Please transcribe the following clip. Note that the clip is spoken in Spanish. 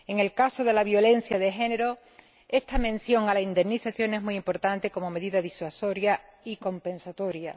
En el caso de la violencia de género, esta mención a la indemnización es muy importante como medida disuasoria y compensatoria.